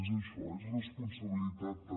és això és responsabilitat també